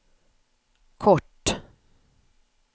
kort